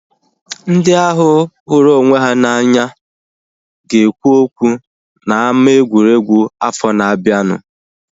Ndị ahu hụrụ onwe ha na anya ga ekwu okwu na ama egwuregwu afọ na abianu